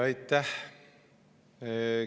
Aitäh!